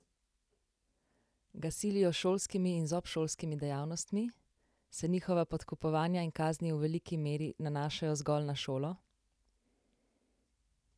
Ga silijo s šolskimi in z obšolskimi dejavnostmi, se njihova podkupovanja in kazni v veliki meri nanašajo zgolj na šolo?